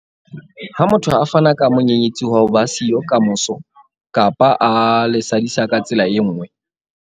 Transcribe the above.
Ha motho a fana ka monyenyetsi wa ho ba siyo kamoso kapa a le sadisa ka tsela e nngwe.